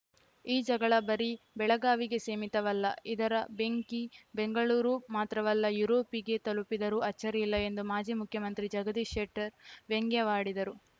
ಈ ಜಗಳ ಬರೀ ಬೆಳಗಾವಿಗೆ ಸೀಮಿತವಲ್ಲ ಇದರ ಬೆಂಕಿ ಬೆಂಗಳೂರು ಮಾತ್ರವಲ್ಲ ಯುರೋಪಿಗೆ ತಲುಪಿದರೂ ಅಚ್ಚರಿಯಿಲ್ಲ ಎಂದು ಮಾಜಿ ಮುಖ್ಯಮಂತ್ರಿ ಜಗದೀಶ್ ಶೆಟ್ಟರ್‌ ವ್ಯಂಗ್ಯವಾಡಿದರು